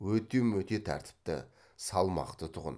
өте мөте тәртіпті салмақты тұғын